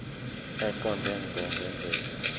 eqonde ngqo ngendlela